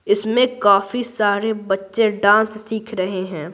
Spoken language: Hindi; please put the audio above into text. इसमें काफी सारे बच्चे डांस सीख रहे हैं।